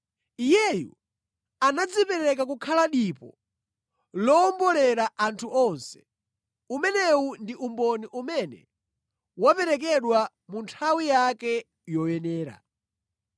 Iyeyu anadzipereka kukhala dipo lowombolera anthu onse. Umenewu ndi umboni umene waperekedwa mu nthawi yake yoyenera.